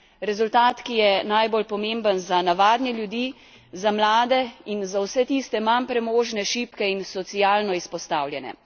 Rezultat, ki je najbolj pomemben za navadne ljudi, za mlade in za vse tiste manj premožne, šibke in socialno izpostavljene.